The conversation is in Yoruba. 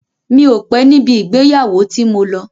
Mi ò pé níbi ìgbéyàwó tí mo lọ.